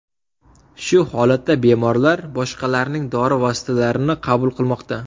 Shu holatda bemorlar boshqalarning dori vositalarini qabul qilmoqda.